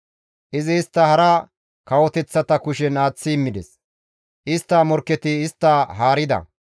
Izi istta hara kawoteththata kushen aaththi immides; istta morkketi istta haarida.